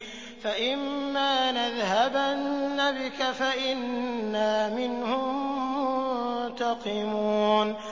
فَإِمَّا نَذْهَبَنَّ بِكَ فَإِنَّا مِنْهُم مُّنتَقِمُونَ